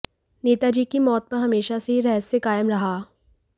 नेताजी की मौत पर हमेशा से ही रहस्य कायम रहा